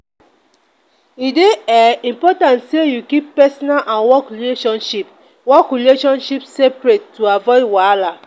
e dey um important sey you keep personal and work relationship work relationship separate to avoid wahala.